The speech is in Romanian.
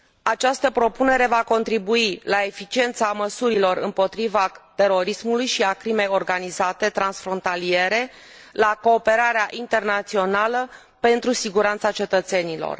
Această propunere va contribui la eficiența măsurilor împotriva terorismului și a crimei organizate transfrontaliere, la cooperarea internațională pentru siguranța cetățenilor.